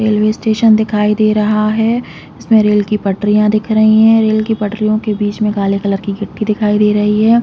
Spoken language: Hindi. रेलवे स्टेशन दिखाई दे रहा है इसमें रेल की पटरियाँ दिख रही है रेल के पटरियों के बिच में काले कलर की गिट्टी दिखाई दे रही हैं।